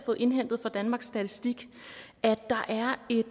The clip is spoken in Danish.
fået indhentet fra danmarks statistik at der er et